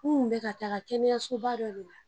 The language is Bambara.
N kun bɛ ka taga kɛnɛyasoba dɔ de la